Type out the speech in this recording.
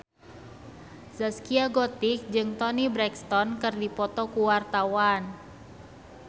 Zaskia Gotik jeung Toni Brexton keur dipoto ku wartawan